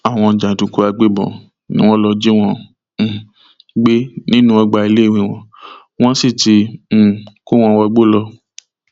àwọn jàǹdùkú àgbẹbọn ni wọn lọọ jí wọn um gbé nínú ọgbà iléèwé wọn wọn sì ti um kó wọn wọgbó lọ